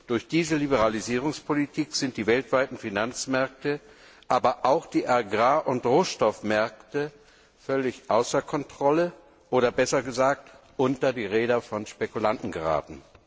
Durch diese Liberalisierungspolitik sind die weltweiten Finanzmärkte, aber auch die Agrar und Rohstoffmärkte, völlig außer Kontrolle oder besser gesagt unter die Räder von Spekulanten geraten.